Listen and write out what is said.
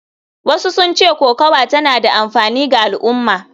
Wasu sun ce kokawa tana da amfani ga al’umma.